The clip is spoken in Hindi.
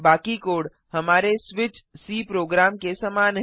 बाकी कोड हमारे स्विच सी प्रोग्राम के समान है